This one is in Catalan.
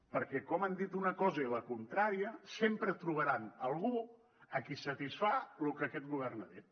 perquè com han dit una cosa i la contrària sempre trobaran algú a qui satisfà lo que aquest govern ha dit